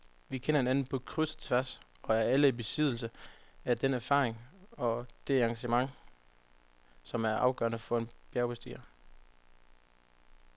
Vi kender hinanden på kryds og tværs og er alle i besiddelse af den erfaring og det engagement, som er afgørende for en bjergbestiger.